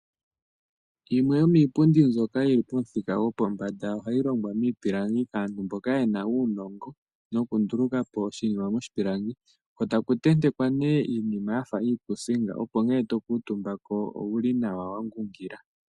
Yimwe yomiipundu mbyoka yili pomuthika gopombanda ohayilongwa miipilangi. Aantu mboka yena uunongo wokundulukapo oshinima moshipilangi ko taku tentekwa ne iinima yafa iikuusinga opo nge tokuutumbako owulinawa wangungila.